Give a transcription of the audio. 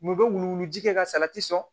Mun bɛ wulu wuluji kɛ ka salati sɔn